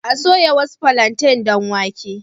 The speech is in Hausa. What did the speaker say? A soya wasu plantains don wake.